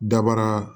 Dabara